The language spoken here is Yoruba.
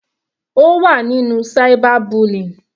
Ó wà nínú cyber bullying.